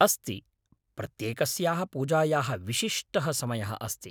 अस्ति, प्रत्येकस्याः पूजायाः विशिष्टः समयः अस्ति।